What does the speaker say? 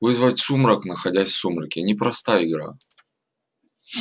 вызвать сумрак находясь в сумраке непростая игра